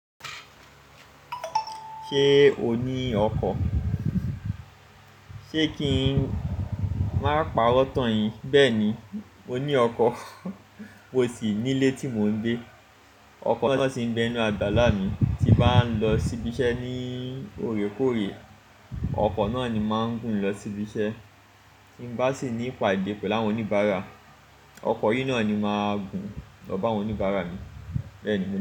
Ṣé o ní ọkọ? Sé kí n máa pàrọ̀ tán yin. Bẹ́ẹ̀ni, mo ní ọkọ, mó sì nílé tí mò ń gbé. Ọkọ náà sì ń bé inú àgbàlá mi, tí bá lọ síbi iṣẹ́ ní òrékòré, ọkọ náà ni máa ń gùn lọ síbi iṣẹ́, tí n bá sì ní ìpàdé pẹ̀lú àwọn oníbàárà, ọkọ yìí náà ni máa gùn lọ bá àwọn oníbàárà mi, bẹ́ẹ̀ ni.